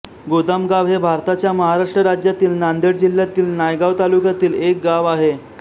गोदामगाव हे भारताच्या महाराष्ट्र राज्यातील नांदेड जिल्ह्यातील नायगाव तालुक्यातील एक गाव आहे